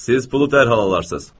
Siz pulu dərhal alarsız.